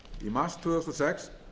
mars tvö þúsund og sex